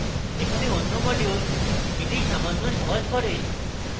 এখানে অন্য modules এটি সামান্য সহজ করে